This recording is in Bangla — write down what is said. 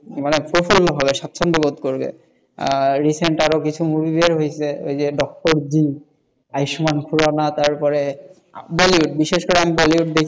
প্রচুর মানে স্বচ্ছন্দ বোধ করবেএখানটাতে movie বের হয়েছে ওই যে doctor B, Ayushmann Khurrana, Bollywood মানে বিশেষ করে বলিউড দেখি,